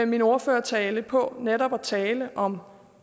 min ordførertale på netop at tale om